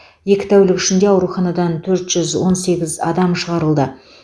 екі тәулік ішінде ауруханадан төрт жүз он сегіз адам шығарылды